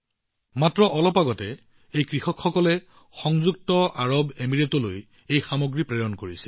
মাত্ৰ কিছুদিন পূৰ্বে এই কৃষকসকলে ইউএইলৈ এই দুটা সামগ্ৰী প্ৰেৰণ কৰিছিল